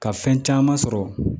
Ka fɛn caman sɔrɔ